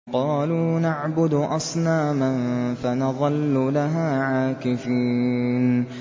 قَالُوا نَعْبُدُ أَصْنَامًا فَنَظَلُّ لَهَا عَاكِفِينَ